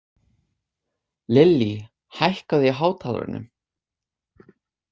Lillý, hækkaðu í hátalaranum.